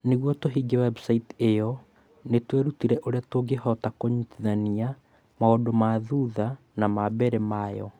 Nĩguo tũhingie webusaiti ĩyo nĩ twerutire ũrĩa tũngĩhota kũnyitithania maũndũ ma thutha na ma mbere ma yo